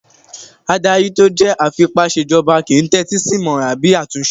Adarí tó jẹ́ afipásèjọba kìí n tẹ́tí sí ìmọràn àbí àtúnṣe